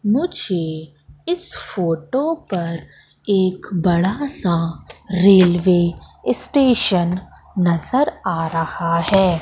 मुझे इस फोटो पर एक बड़ा सा रेलवे स्टेशन नजर आ रहा है।